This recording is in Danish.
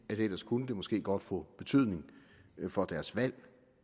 ellers kunne det måske godt få betydning for deres valg